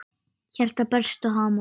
Hjartað berst og hamast.